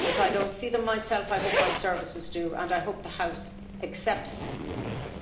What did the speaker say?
If I don't see them myself, I hope my services do and I hope the House accepts that.